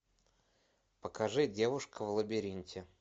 покажи девушка в лабиринте